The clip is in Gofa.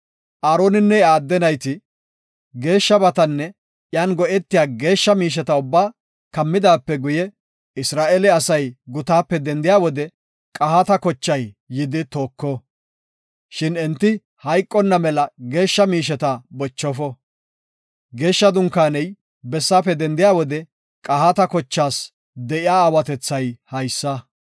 Aaroninne iya adde nayti, geeshshabatanne iyan go7etiya geeshsha miisheta ubbaa kammidaape guye Isra7eele asay gutaape dendiya wode Qahaata kochay yidi tooko. Shin enti hayqonna mela geeshsha miisheta bochofo. Geeshsha Dunkaaney bessaafe dendiya wode qahaata kochaas de7iya aawatethay haysa.